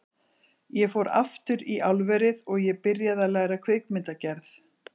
Ég fór aftur í álverið og ég byrjaði að læra kvikmyndagerð.